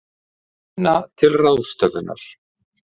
Minna til ráðstöfunar